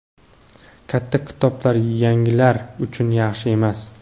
katta kitoblar "yangilar" uchun yaxshi emas.